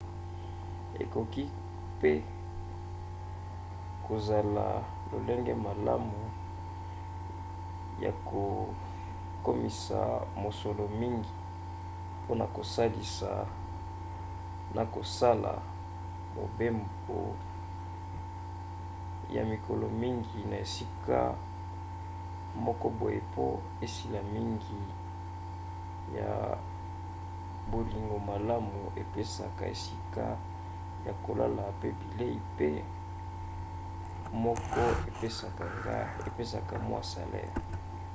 ekoki kozala mpe lolenge malamu ya kokomisa mosolo mingi mpona kosalisa na kosala mobembo ya mikolo mingi na esika moko boye po misala mingi ya bolingo malamu epesaka esika ya kolala mpe bilei mpe moko epesaka mwa salere